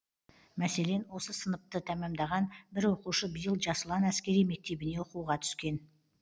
мәселен осы сыныпты тәмамдаған бір оқушы биыл жас ұлан әскери мектебіне оқуға түскен